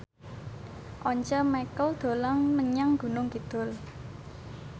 Once Mekel dolan menyang Gunung Kidul